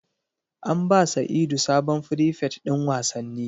An ba sa'idu sabon frifet din wasanni